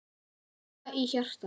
Hjarta í hjarta.